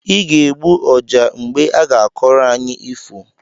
Ị ga-egbu ọjá mgbe aga-akọrọ anyị ifo!